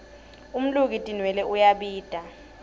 umluki tinwelwe uyabita